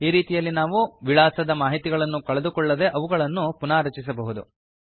ಈ ರೀತಿಯಲ್ಲಿ ನಾವು ವಿಳಾಸದ ಮಾಹಿತಿಗಳನ್ನು ಕಳೆದುಕೊಳ್ಳದೆ ಅವುಗಳನ್ನು ಪುನಾರಚಿಸಬಹುದು